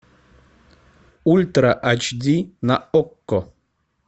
ультра айч ди на окко